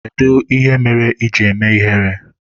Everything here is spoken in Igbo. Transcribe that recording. Kedụ ihe mere iji eme ihere?